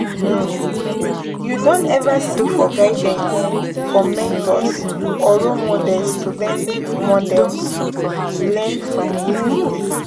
um You don ever seek for guidance from mentors or role models to learn models to learn from yesterday?